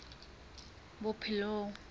bophelong